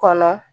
Kɔnɔ